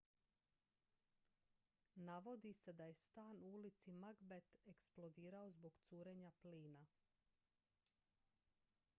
navodi se da je stan u ulici macbeth eksplodirao zbog curenja plina